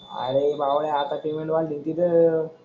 अरे भावड्या आता पेमेंट वाढतील कि र.